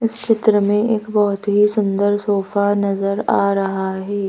इस चित्र में एक बहुत ही सुंदर सोफा नजर आ रहा है।